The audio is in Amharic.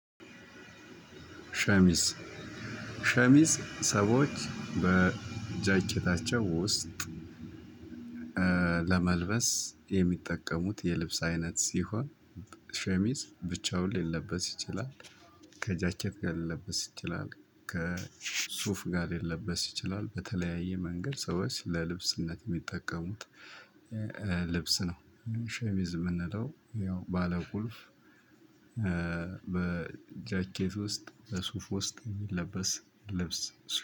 ሸሚዝ ሸሚዝ ሰዎች በጃኬታቸው ውስጥ ለመልበስ የሚጠቀሙት የልብስ አይነት ሲሆን ሸሚዝ ብቻውን ሊለበስ ይችላል ከጃኬት ጋር ሊለበስ ይችላል ከሱፍ ጋር ልለበስ ይችላል በተለያየ መንገድ ሰው ለልብስነት የሚጠቀሙት ልብስ ነው። ሸሚዝ የምንለው ያው ባለቁልፍ በጃኬት ውስጥ ለሱፍ ውስጥ የሚለበስ ልብስ